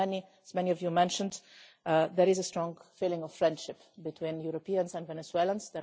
As many of you mentioned, there is a strong feeling of friendship between Europeans and Venezuelans.